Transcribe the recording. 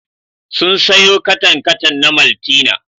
Sun sayo katan-katan na maltina.